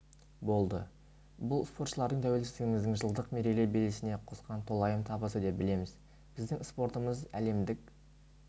болды бұл спортшылардың тәуелсіздігіміздің жылдық мерейлі белесіне қосқан толайым табысы деп білеміз біздің спортымыз әлемдік